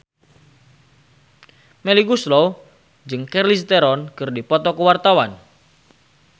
Melly Goeslaw jeung Charlize Theron keur dipoto ku wartawan